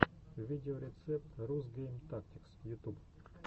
видеорецепт рус гейм тактикс ютуб